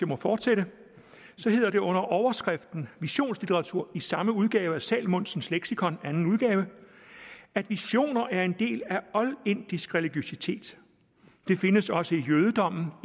må fortsætte så hedder det under overskriften visionslitteratur i samme udgave af salmonsens leksikon at visioner er en del af oldindisk religiøsitet det findes også i jødedommen